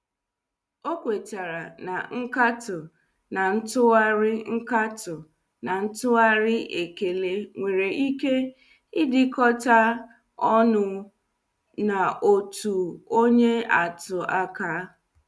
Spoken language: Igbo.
Ọ kwetara na nkato na ntụgharị nkato na ntụgharị ekele nwere ike idikota ọnụ n' ọtụ onye atụ aka.